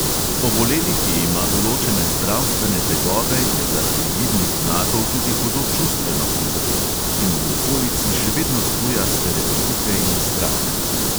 Oboleli, ki ima določene zdravstvene tegobe, je zaradi vidnih znakov tudi hudo čustveno prizadet in v okolici še vedno zbuja stereotipe in strah.